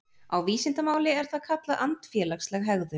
Á vísindamáli er það kallað andfélagsleg hegðun.